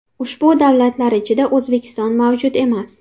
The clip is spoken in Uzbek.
Ushbu davlatlar ichida O‘zbekiston mavjud emas.